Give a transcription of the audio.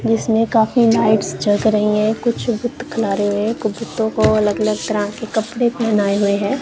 जिसमें काफी लाइट्स जग रही है कुछ रहे हैं कुछ को अलग अलग तरह के कपड़े पेहनाये हुए हैं।